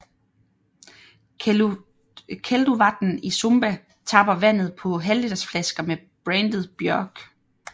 Kelduvatn i Sumba tapper vandet på halvlitersflasker med brandet Bjørg